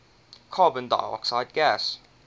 carbon dioxide gas